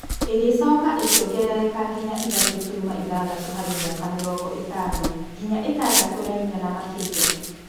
Ĩgĩcoka ĩkĩongerereka nginya ithatũ turuma ithathatũ harĩ mĩaka mĩrongo ĩtano ngĩnya ĩtandatũ na inya na makĩria